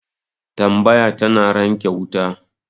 Tambaya tana ranke wuta